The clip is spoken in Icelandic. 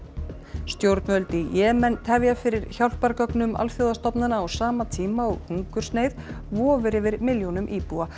stjórnvöld í Jemen tefja fyrir hjálpargögnum alþjóðastofnana á sama tíma og hungursneyð vofir yfir milljónum íbúa